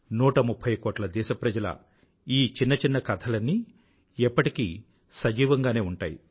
130 కోట్ల దేశప్రజల ఈ చిన్న చిన్న కథలన్నీ ఎప్పటికీ సజీవంగానే ఉంటాయి